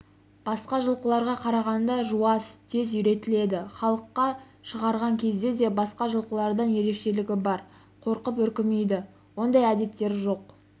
басқа жылқыларға қарағанда жуас тез үйретіледі халыққа шығарған кезде де басқа жылқылардан ерекшелігі бар қорқып үркімейді ондай әдеттері жоқ